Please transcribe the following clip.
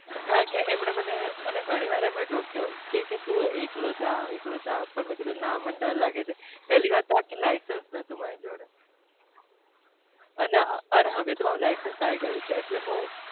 કારણ કે અમને મને ઘણી વાર ટોક્યો